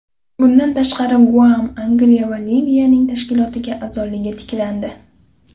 Bundan tashqari, Guam, Angilya va Liviyaning tashkilotga a’zoligi tiklandi.